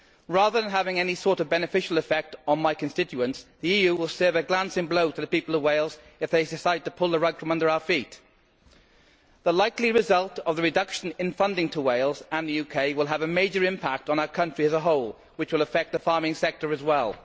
Rather than having any sort of beneficial effect on my constituents, the EU will serve a glancing blow to the people of Wales if they decide to pull the rug from under our feet. The likely result of the reduction in funding to Wales and the UK will have a major impact on our country as a whole which will affect the farming sector as well.